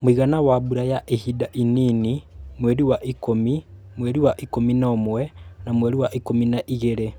Mũigana wa mbura ya ihinda inini (mweri wa ikumi, mweri wa ikumi na ũmwe na mweri wa Ikumi na igĩrĩ)